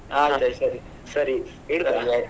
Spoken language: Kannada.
ಸರಿ ಸರಿ ?